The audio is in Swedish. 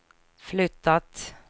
flyttat